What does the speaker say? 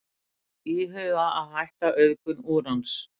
Íhuga að hætta auðgun úrans